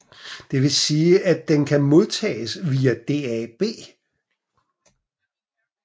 Det vil sige den kan modtages via DAB